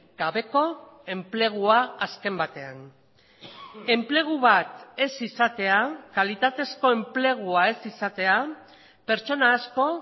gabeko enplegua azken batean enplegu bat ez izatea kalitatezko enplegua ez izatea pertsona asko